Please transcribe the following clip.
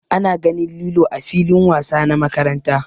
Ana ganin lilo ã filin wasa na makaranta.